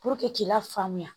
k'i lafaamuya